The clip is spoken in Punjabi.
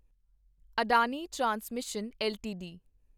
Adani transmission LTD